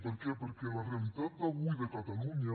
per què perquè la realitat d’avui de catalunya